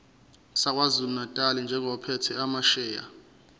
sakwazulunatali njengophethe amasheya